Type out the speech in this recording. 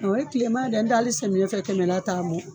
O ye kilema de ye n'o tɛ hali samiyɛ fɛ kɛmɛ la t'a bɔ.